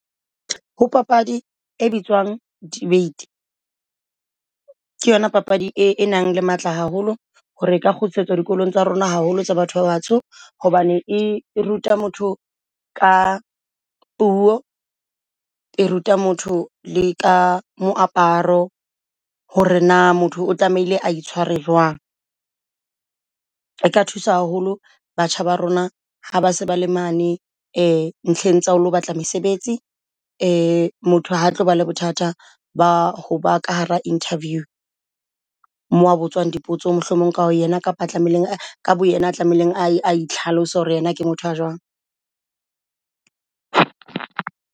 Ho papadi e bitswang debate ke yona papadi e nang le matla haholo hore ka kgutlisetswa dikolong tsa rona haholo tsa batho ba batsho hobane e ruta motho ka puo, e ruta motho le ka moaparo hore na motho o tlamehile a itshware jwang. E ka thusa haholo batjha ba rona ha ba se ba le mane e ntlheng tsa o lo batla mesebetsi motho ha tloba le bothata ba ho ba ka hara interview. Mo a botswang dipotso mohlomong ka bo yena kapa tlamehileng ka bo yena tlamehileng a itlhalose hore yena ke motho a jwang.